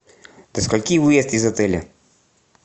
до скольки выезд из отеля